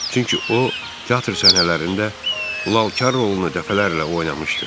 Çünki o, teatr səhnələrində Lalkar rolunu dəfələrlə oynamışdı.